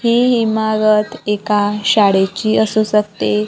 ही इमारत एका शाडेची असू शकते.